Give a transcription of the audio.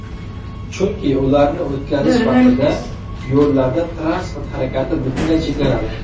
Chunki ularni o‘tkazish vaqtida yo‘llarda transport harakati butunlay cheklanadi.